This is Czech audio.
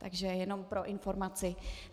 Takže jenom pro informaci.